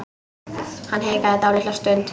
Hann hikaði dálitla stund.